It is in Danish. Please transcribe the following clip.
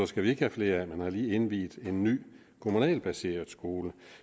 skal have flere af den har lige indviet en ny kommunalt baseret skole